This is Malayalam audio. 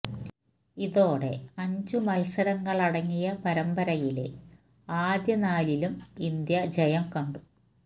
ഇതോടെ അഞ്ച് മത്സരങ്ങളടങ്ങിയ പരമ്പരയിലെ ആദ്യ നാലിലും ഇന്ത്യ ജയം കണ്ടു